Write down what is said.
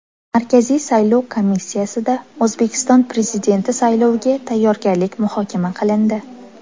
Markaziy saylov komissiyasida O‘zbekiston Prezidenti sayloviga tayyorgarlik muhokama qilindi.